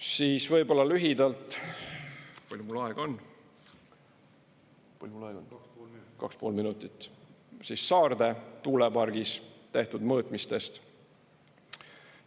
Siis võib-olla lühidalt – palju mul aega on, kaks-pool minutit – Saarde tuulepargis tehtud mõõtmistest.